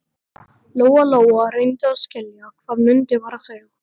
Lóa Lóa reyndi að skilja hvað Munda var að segja.